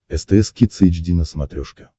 стс кидс эйч ди на смотрешке